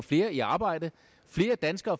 flere i arbejde